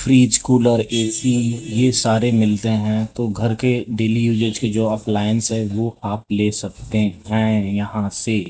fridge cooler AC ये सारे मिलते हैं तो घर के डेली यूजेज के जो एप्लायंस है वो आप ले सकते हैं यहां से --